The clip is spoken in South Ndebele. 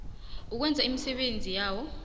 ukwenza imisebenzi yawo